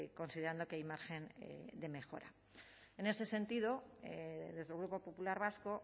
considerando que hay margen de mejora en ese sentido desde el grupo popular vasco